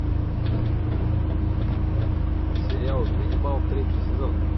сериал ганнибал третий сезон